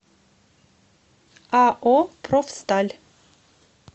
ао профсталь